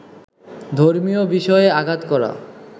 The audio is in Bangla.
ধর্মীয় বিষয়ে আঘাত করা